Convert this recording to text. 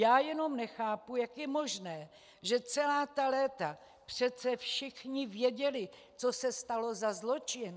Já jenom nechápu, jak je možné, že celá ta léta přece všichni věděli, co se stalo za zločin.